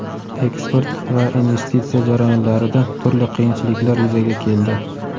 eksport va investitsiya jarayonlarida turli qiyinchiliklar yuzaga keldi.